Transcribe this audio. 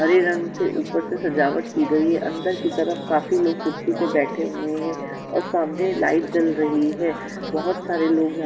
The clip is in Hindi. हरे रंग से ऊपर से सजावट की गई अंदर की तरफ काफी लोग कुर्सी पे बैठे हुए हैं और सामने लाइट जल रही है बहत सारे लोग यहाँ--